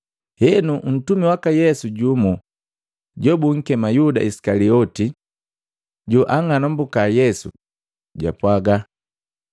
Henu, ntumi waka Yesu jumu, jobunkema Yuda Isikalioti, joanng'anambuka Yesu, jwapwaga,